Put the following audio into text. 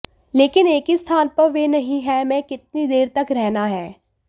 लेकिन एक ही स्थान पर वे नहीं है में कितनी देर तक रहना है